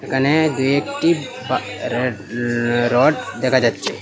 এখানে দু একটি বা রেড-রড দেখা যাচ্ছে।